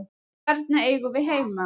Þarna eigum við heima.